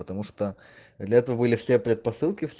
потому что для этого были все предпосылки